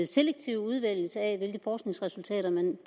selektiv udvælgelse af hvilke forskningsresultater man